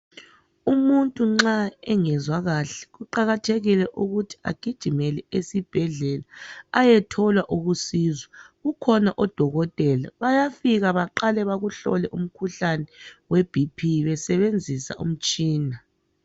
Umuntu nxa engezwa kahle kuqakathekile ukuthi agijimele esibhedlela ayethola uncedo kukhona odokotela bayafika baqale bakuhlole umkhuhlane weBp besebenzisa umtshina.